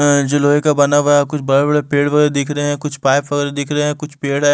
जो लोहे का बना हुआ है। कुछ बड़े-बड़े पेड़ वगैरह दिख रहे हैं। कुछ पाइप वगैरह दिख रहे हैं कुछ पेड़ है।